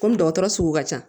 Komi dɔgɔtɔrɔ sugu ka ca